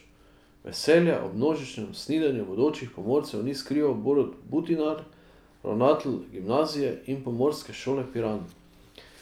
Veselja ob množičnem snidenju bodočih pomorcev ni skrival Borut Butinar, ravnatelj gimnazije in pomorske šole Piran.